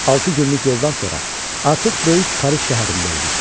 Altı günlük yoldan sonra artıq böyük Paris şəhərində idik.